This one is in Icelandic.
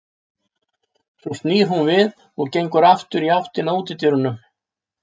Svo snýr hún við og gengur aftur í áttina að útidyrum.